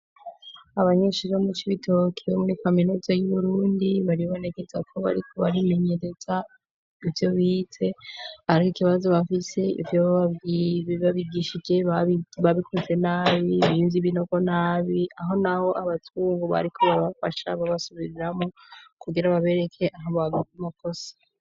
Abanyeshuri bo mu Cibitoke bo muri kaminuza y'uburundi baribonekeza ko bariko barimenyereza ivyo bize, ariko ikibazo bafise ivyo babigishije babikoze nabi bimvye ibingko nabi aho naho abazungu bariko babafasha babasubiriramwo kugira babereke aho bakoze amakosa.